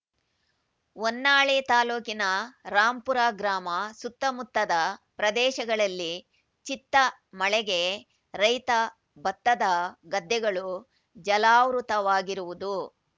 ಹೊನ್ನಾಳಿ ತಾಲೂಕಿನ ರಾಂಪುರ ಗ್ರಾಮ ಸುತ್ತಮುತ್ತದ ಪ್ರದೇಶಗಳಲ್ಲಿ ಚಿತ್ತ ಮಳೆಗೆ ರೈತ ಭತ್ತದ ಗದ್ದೆಗಳು ಜಲಾವೃತವಾಗಿರುವುದು